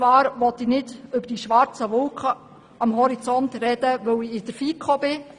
Ich möchte nicht über die schwarzen Wolken sprechen, weil ich in der FiKo bin.